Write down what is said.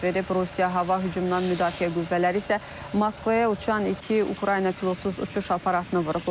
Rusiya hava hücumundan müdafiə qüvvələri isə Moskvaya uçan iki Ukrayna pilotsuz uçuş aparatını vurub.